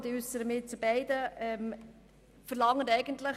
Ich äussere mich jetzt zu beiden.